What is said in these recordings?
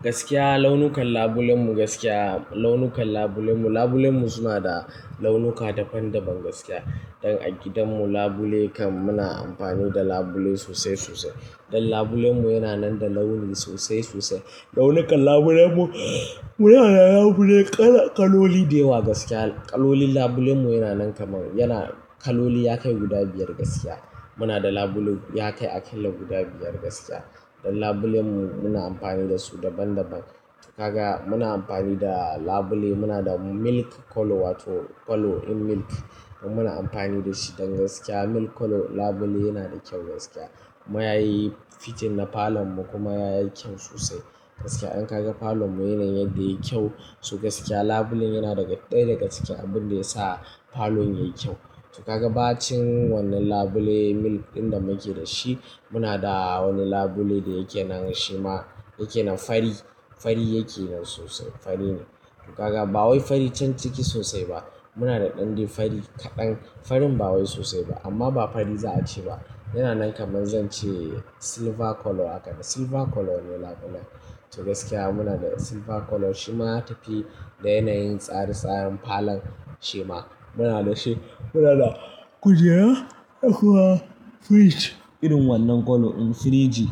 Gaskiya launukan labulen mu, gaskiya launukan labulen mu, labulen mu suna da launuka daban-daban gaskiya. Don a gidan mu labule kan muna amfani da labule sosai sosai. Don labulen mu yana nan da launi sosai sosai, launukan labulen mu, muna da labule kaloli da yawa gaskiya. Kalolin labulen mu yana nan kamar, yana kaloli ya kai guda biyar gaskiya. Muna da labule ya kai aƙalla guda biyar gaskiya. Don labulen mu muna amfani da su daban-daban. Kaga muna amfani da labule, muna da milk colour wato colour in milk. Don muna amfani da shi don gaskiya milk colour labule yana da kyau gaskiya. Kuma ya yi fiting na falon mu kuma ya yi kyau sosai. Gaskiya in ka ga falon mu yana yin yadda ya yi kyau. To gaskiya labulen yana daga ɗaya daga cike abin da ya sa falon ya yi kyau. To kaga bacin wannan labule milk ɗin da muke da shi. Muna da wani labule da yake nan shi ma yake nan fari, fari yake nan sosai, fari ne. To kaga ba wai fari can ciki sosai ba. Muna da ɗande fari kaɗan, farin ba wai sosai ba amma ba fari za a ce ba. Yana nan kamar zan ce silver colour haka, silver colour ne labulen. To gaskiya muna da silver colour shi ma ya tafi da yanayin tsari tsarin falon shi ma muna da shi. Muna da kujera akwai fridge irin wannan colour in fridge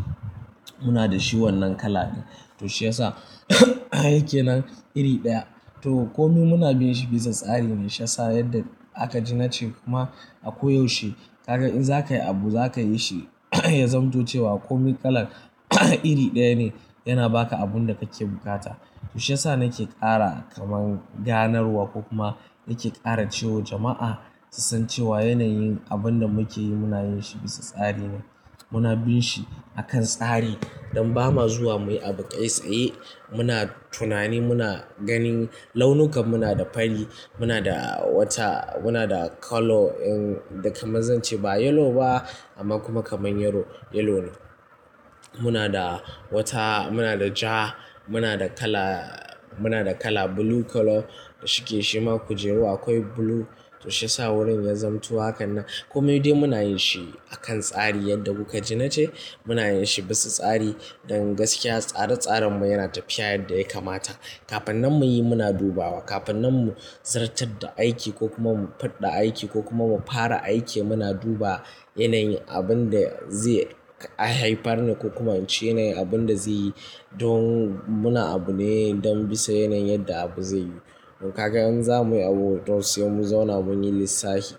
muna da shi wannan colour ne. To shi ya sa yake nan iri ɗaya. To komai muna bin shi bisa tsari ne shiyasa yadda aka ji na ce kuma a ko yaushe ka ga in za ka yi abu za ka yi shi ya zamto cewa komai colour iri ɗaya ne yana ba ka abun da kake bukata. To shi ya sa na ke ƙara kamar ganarwa ko kuma na ke ƙara cewa jama'a su san cewa yanayin abun da muke yi muna yin shi bisa tsari ne. Muna bin shi akan tsari. Don ba ma zuwa muyi abu kai tsaye muna tunani muna ganin launuka muna da fari, muna da wata, muna da colour, in da kamar zan ce ba yellow ba amma kuma kamar yellow, yellow ne. Muna da wata, muna da ja, muna da colour, muna da colour blue colour da shi ke shima kujeru akwai blue. To shi ya sa wurin ya zamto hakan nan. Komai dai muna yin shi akan tsari yadda kuka ji na ce muna yin shi bisa tsari. Don gaskiya tsare tsaren mu yana tafiya yadda ya kamata. Kafin nan mu yi muna dubawa, kafin nan mu zartar da aiki ko kuma mu faɗɗa aiki ko kuma mu fara aiki muna duba yanayin abun da zai haifar ne ko kuma in ce yanayin abun da zai yi don muna abu ne don bisa yanayin yadda abu zai yi. To kaga in za muyi abu to sai mu zauna mun yi lissafi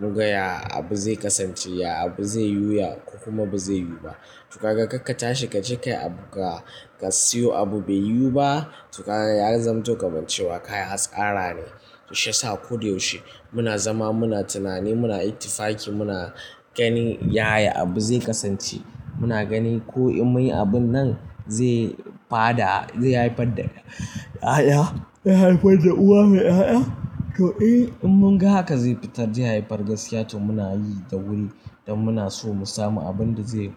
mu ga ya abu zai kasance, ya abu zai yiwu, ya kokuma ba zai yiwu ba. To kaga ka ka tashi ka je kai abu ka, ka siyo abu bai yiwu ba to ka, ya zamto kamar cewa ka yi hatsara ne. To shi ya sa ko da yaushe muna zama muna tunani muna iktifaki muna ganin yaya abu zai kasance. Muna ganin ko in muyi abun nan zai fada zai haifar da 'ya'ya, zai haifar da uwa mai 'ya'ya. To eh in mun ga haka zai fitar zai haifar gaskiya to muna yi da wuri don muna so mu samu abun da zai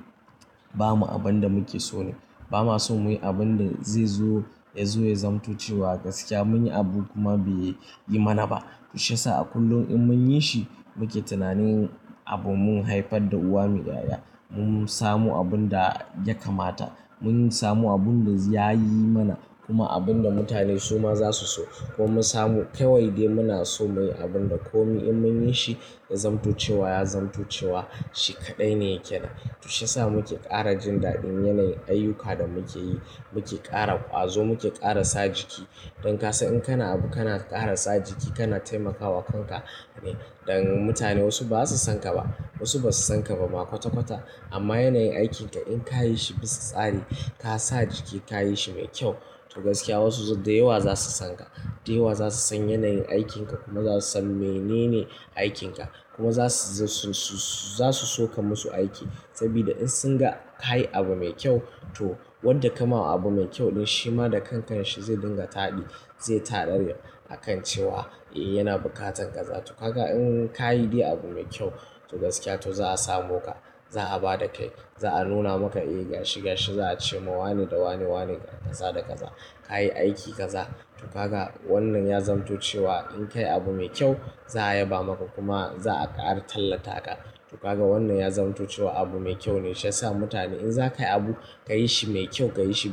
ba mu abun da muke so ne. Ba ma so muyi abun da zai zo, ya zo ya zamto cewa gaskiya mun yi abu kuma bai yi mana ba. To shi ya sa a kullum in mun yi shi muke tunanin abun mun haifar da uwa mai 'ya'ya. Mun samu abun da ya kamata, mun samu abun da ya yi mana kuma abun da mutane su ma za su so kuma mun samu. Ka wai dai muna so muyi abun da komai in mun yi shi ya zamto cewa, ya zamto cewa shi kaɗai ne yake nan. To shi ya sa muke ƙara jin daɗin yanayin ayyuka da muke yi. Muke ƙara ƙwazo, muke ƙara sa jiki. Don ka san in kana abu kana ƙara sa jiki kana taimakawa kanka ne. Don mutane wasu ba su san ka ba, wasu ba su san ka ba ma kwata-kwata amma yanayin aikinka in ka yi shi bisa tsari ka sa jiki ka yi shi mai kyau to gaskiya wasu dayawa za su san ka. Dayawa za su san yanayin aikinka kuma za su san menene aikinka kuma za su, su, su, za su so ka musu aiki. Saboda in sun ga ka yi abu mai kyau to wanda ka ma abu mai kyau ɗin shi ma da kankan shi zai dinga taɗi, zai tanadar akan cewa eh yana bukatar kaza. To kaga in ka yi dai abu mai kyau to gaskiya to za a samo ka, za a ba da kai, za a nuna maka eh gashi gashi za a ce ma wane da wane wane ga kaza da kaza. Ka yi aiki kaza to kaga wannan ya zamto cewa in ka yi abu mai kyau za a yaba maka kuma za a ƙara tallata ka. To kaga wannan ya zamto cewa abu mai kyau ne shiyasa mutane in za ka yi abu ka yi shi mai kyau, ka yi shi.